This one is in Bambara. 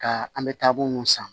Ka an bɛ taabolo mun san